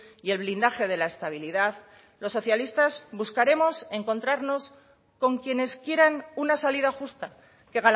y el blindaje de la estabilidad los socialistas buscaremos encontrarnos con quienes quieran una salida justa que